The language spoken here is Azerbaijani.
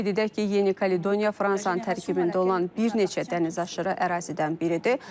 Qeyd edək ki, Yeni Kaledoniya Fransanın tərkibində olan bir neçə dənizaşırı ərazidən biridir.